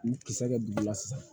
N kisɛ kɛ dugu la sisan